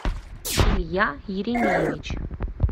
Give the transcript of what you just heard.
илья еремеевич